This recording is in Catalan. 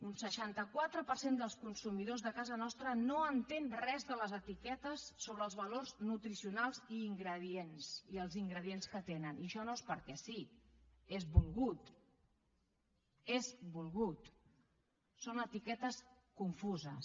un seixanta quatre per cent dels consumidors de casa nostra no entén res de les etiquetes sobre els valors nutricionals i els ingredients que tenen i això no és perquè sí és volgut és volgut són etiquetes confuses